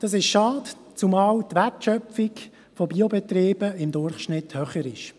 Das ist schade, zumal die Wertschöpfung von Biobetrieben im Durchschnitt höher ist.